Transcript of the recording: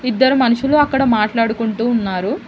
ఇద్దరు మనుషులు అక్కడ మాట్లాడుకుంటూ ఉన్నారు.